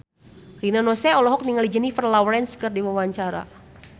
Rina Nose olohok ningali Jennifer Lawrence keur diwawancara